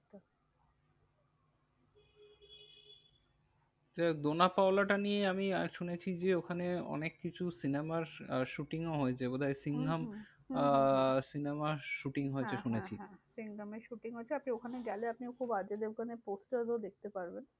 ডোনা পাওলাটা নিয়ে আমি শুনেছি যে ওখানে অনেককিছু cinema র shooting ও হয়েছে। বোধহয় সিংঘাম হম হম আহ cinema র shooting হ্যাঁ হ্যাঁ হ্যাঁ হয়েছে শুনেছি। সিংঘাম এর shooting হয়েছে। আপনি ওখানে গেলে আপনি খুব অজয় দেবগান এর poster ও দেখতে পারবেন।